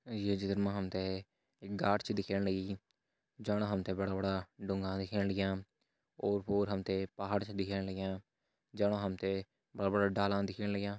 ये चित्र मा हम त एक गाड छ दिखेण लगी जामा हम त बड़ा-बड़ा डूंगा दिखेण लग्यां ओर पोर हम त पहाड़ छ दिखेण लग्यां जामा हम त बड़ा बड़ा डालान दिखेण लग्यां।